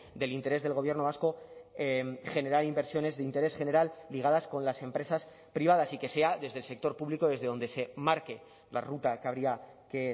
del interés del gobierno vasco generar inversiones de interés general ligadas con las empresas privadas y que sea desde el sector público desde donde se marque la ruta que habría que